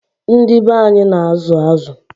Ndị be anyị na-azụ azụ.